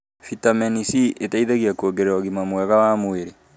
bitameni C ĩteithagia kũongerera ũgima mwega wa mwĩrĩ